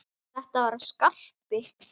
Já, þetta var Skarpi!